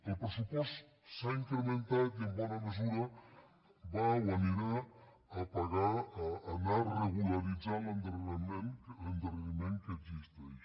el pressupost s’ha incrementat i en bona mesura va o anirà a pagar a anar regularitzant l’endarreriment que existeix